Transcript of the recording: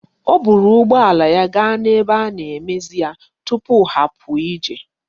O buru ụgbọ ala ya gaa n'ebe a ga-emezi ya tupu ha apụ ije.